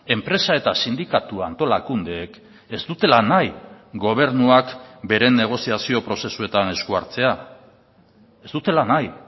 enpresa eta sindikatua antolakundeek ez dutela nahi gobernuak bere negoziazio prozesuetan esku hartzea ez dutela nahi